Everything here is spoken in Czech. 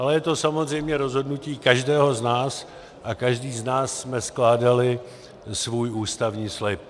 Ale je to samozřejmě rozhodnutí každého z nás a každý z nás jsme skládali svůj ústavní slib.